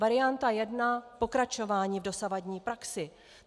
Varianta jedna - pokračování v dosavadní praxi.